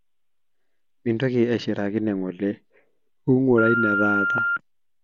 mintoki ashiraki nengole kungura neetaata